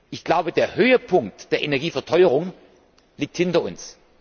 Ich glaube, der Höhepunkt der Energieverteuerung liegt hinter uns.